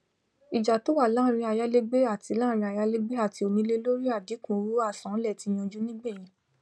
ìjà tó wà láàrín ayálégbé àtí láàrín ayálégbé àtí onílé lórí àdínkù owó àsanlẹ tí yanjú nígbẹyìn